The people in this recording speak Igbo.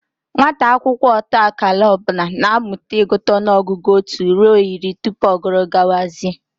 Nwata akwụkwọ ọta akara ọ bụla na-amụta ịgụta ọnụọgụgụ otu ruo iri tupu ọ guru gawazie